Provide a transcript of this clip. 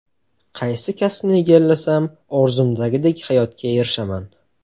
Qaysi kasbni egallasam, orzumdagidek hayotga erishaman?